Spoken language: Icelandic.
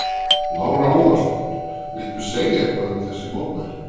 Lára Ómarsdóttir: Viltu segja eitthvað um þessi mótmæli?